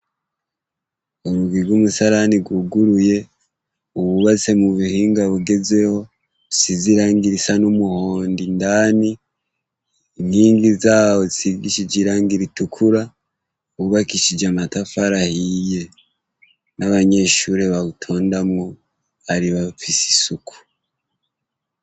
ubuzu bwumusarani bwuguruye bwubatse bwubatse mubuhnga bugezweho busize irangi risa numuhondo indani inkingo zawo zishigishije irangi ritykura ryubakishije amatafari ahiye n'abanyeshure babutondamwo bari bafise isuku.